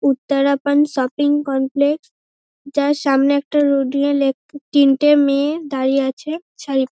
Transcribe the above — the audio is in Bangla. উত্তারাপন শপিং কমপ্লেক্স যার সামনে একটা তিনটে মেয়ে দাঁড়িয়ে আছে চারি--